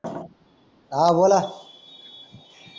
हा बोला